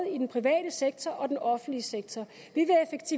i den private sektor og i den offentlige sektor